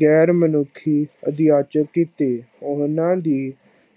ਗੈਰ ਮਨੁੱਖੀ ਅਧਿਆਚਕ ਕੀਤੀ। ਉਹਨਾਂ ਦੀ